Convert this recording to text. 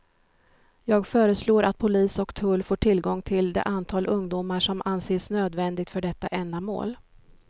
Jag föreslår att polis och tull får tillgång till det antal ungdomar som anses nödvändigt för detta ändamål.